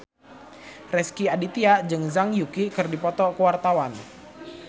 Rezky Aditya jeung Zhang Yuqi keur dipoto ku wartawan